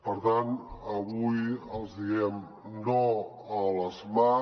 per tant avui els hi diem no a les mat